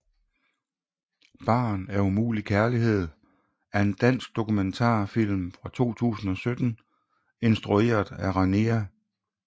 Barn af umulig kærlighed er en dansk dokumentarfilm fra 2017 instrueret af Rania M